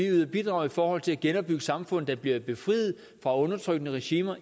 ydet bidrag i forhold til at genopbygge samfund der bliver befriet fra undertrykkende regimer